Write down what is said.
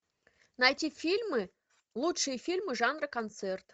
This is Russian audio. найти фильмы лучшие фильмы жанра концерт